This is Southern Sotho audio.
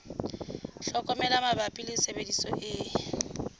tlhokomelo mabapi le tshebediso e